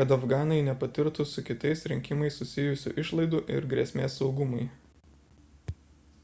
kad afganai nepatirtų su kitais rinkimais susijusių išlaidų ir grėsmės saugumui